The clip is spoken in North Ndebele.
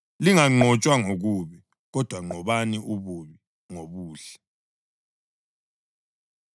Linganqotshwa ngokubi, kodwa nqobani ububi ngobuhle.